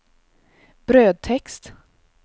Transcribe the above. brödtext